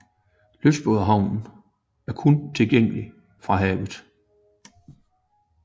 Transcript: Lystbådehavnen er kun tilgængelig fra havet